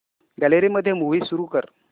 gallery मध्ये movie सुरू कर